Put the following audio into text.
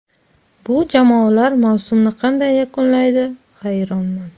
Bu jamoalar mavsumni qanday yakunlaydi, hayronman.